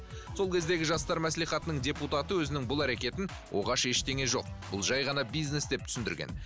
сол кездегі жастар маслихатының депутаты өзінің бұл әрекетін оғаш ештеңе жоқ бұл жай ғана бизнес деп түсіндірген